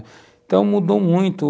Então, mudou muito.